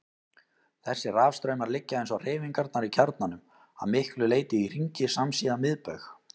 Þessir rafstraumar liggja, eins og hreyfingarnar í kjarnanum, að miklu leyti í hringi samsíða miðbaug.